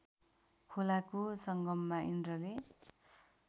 खोलाको सङ्गममा इन्द्रले